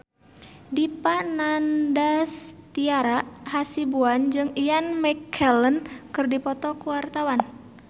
Dipa Nandastyra Hasibuan jeung Ian McKellen keur dipoto ku wartawan